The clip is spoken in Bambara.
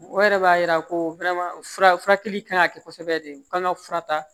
O yɛrɛ b'a yira ko fura furakɛli kan ka kɛ kosɛbɛ de u kan ka fura ta